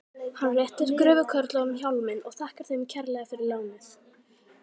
Hann réttir gröfukörlunum hjálminn og þakkar þeim kærlega fyrir lánið.